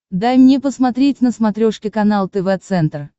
дай мне посмотреть на смотрешке канал тв центр